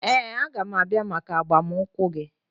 Ee, a ga m abịa maka agbamunkwụ gị